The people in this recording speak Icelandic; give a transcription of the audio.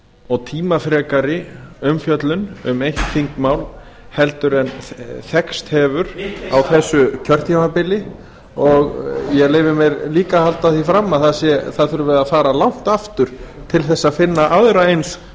og tímafrekari umfjöllun um eitt þingmál heldur en þekkst hefur á þessu kjörtímabili og ég leyfi mér líka að halda því fram að það þurfi að fara langt aftur til að finna aðra eins